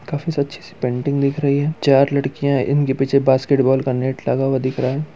काफी सी अच्छी-सी पेंटिंग दिख रही है चार लडकियां इनके पीछे बास्केट बॉल का नेट लगा हुआ दिख रहा है।